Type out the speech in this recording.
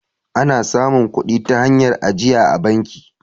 ana samun kudi ta hanyar ajiya a banki